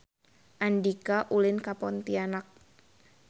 Andika ulin ka Pontianak